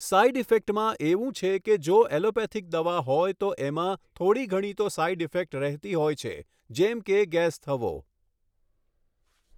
side ઇફેક્ટમાં એવું છે કે જે ઍલોપેથિક દવા હોય તો એમાં થોડી ઘણી તો સાઇડ ઇફેક્ટ રહેતી હોય છે જેમ કે ગૅસ થવો